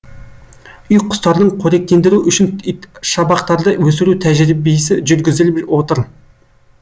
үй құстардың қоректендіру үшін итшабақтарды өсіру тәжірбиесі жүргізіліп отыр